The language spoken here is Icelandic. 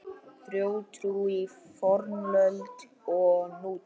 Þjóðtrú í fornöld og nútíð